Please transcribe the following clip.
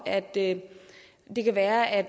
at det det kan være at